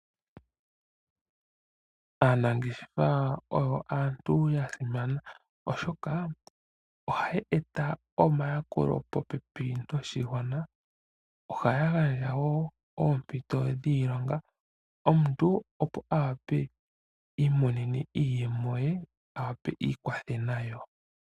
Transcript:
Aanangeshefa oyo aantu ya simana, oshoka ohaa eta omayakulo popepi noshigwana. ohaa gandja woo oompito dhiilonga omuntu opo a wape iimonene iiyemo ye a wape iikwathe nayo.